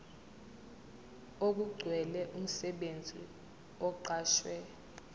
okugcwele umsebenzi oqashwe